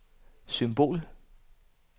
symbol